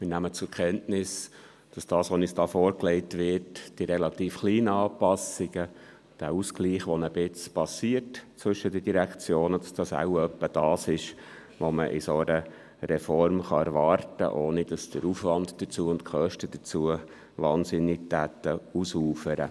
Wir nehmen zur Kenntnis, dass das, was uns da vorgelegt wird – die relativ kleinen Anpassungen, der Ausgleich, der zwischen den Direktionen ein Stück weit geschieht –, etwa das ist, was man von einer solchen Reform erwarten kann, ohne dass der Aufwand und die Kosten dafür wahnsinnig ausuferten.